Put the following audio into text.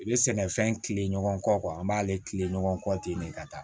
I bɛ sɛnɛfɛn tilen ɲɔgɔn kɔ an b'ale kilen ɲɔgɔn kɔ ten de ka taa